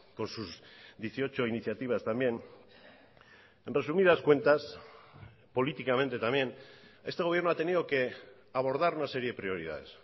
con sus dieciocho iniciativas también en resumidas cuentas políticamente también este gobierno ha tenido que abordar una serie de prioridades